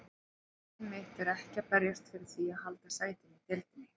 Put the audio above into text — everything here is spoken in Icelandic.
Markmið mitt er ekki að berjast fyrir því að halda sætinu í deildinni.